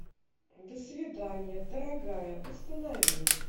до свидания дорогая установи